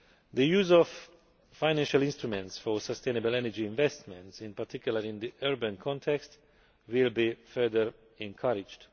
The use of financial instruments for sustainable energy investments, in particular in the urban context, will be further encouraged.